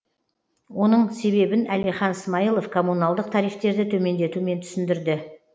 оның себебін әлихан смайлов комуналдық тарифтерді төмендетумен түсіндірді